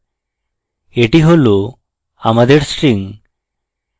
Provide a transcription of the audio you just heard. এটি হল আমাদের string